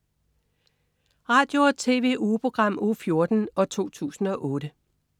Radio- og TV-ugeprogram Uge 14, 2008